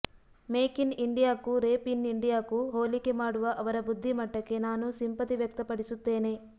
make in ಇಂಡಿಯಾಕ್ಕೂ rape in ಇಂಡಿಯಾಕ್ಕೂ ಹೋಲಿಕೆ ಮಾಡುವ ಅವರ ಬುದ್ಧಿಮಟ್ಟಕ್ಕೆ ನಾನು ಸಿಂಪತಿ ವ್ಯಕ್ತಪಡಿಸುತ್ತೇನೆ